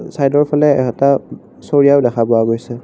চাইডৰ ফালে এটা চৰিয়াও দেখা পোৱা গৈছে।